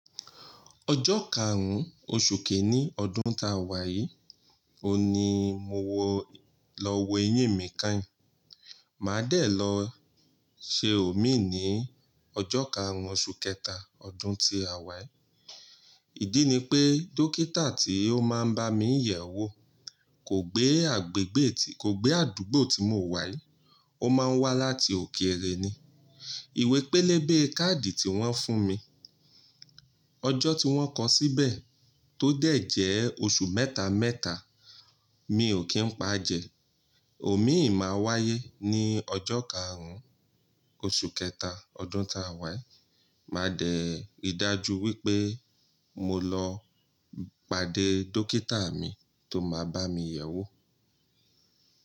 Ọjọ́ karùn-ún oṣù kìíní ọdún ta wàyí on ni mo wọ lọ wo eyín mi kányìn. Màá dẹ̀ lọ ṣe òmíì ní ọjọ́ karùn-ún oṣù kẹta ọdún tí a wàyí. Ìdí ni pé, dókítà tí ó máa ń bá mi yẹ̀ wò, kò gbé kò gbé àdúgbò tí mo wà, ó máa ń wá láti òkèèrè ni. Ìwé pélébé káàdì tí wọ́n fún mi. Ọjọ́ tí wọ́n kọ síbẹ̀ tó dẹ̀ jẹ́ oṣù mẹ́ta mẹ́ta, mi ò kí ń pa jẹ. Òmíì máa wáyé ní ọjọ́ karùn-ún oṣù kẹta ọdún táa wàyí. Màá dẹ̀ ri dájú wípé mo lọ pàdé dókítà mi tó máa bá mi yẹ̀wò.